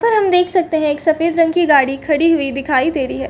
पर हम देख सकते है एक सफ़ेद रंग की गाड़ी खड़ी हुई दिखाई दे रही है।